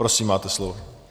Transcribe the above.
Prosím, máte slovo.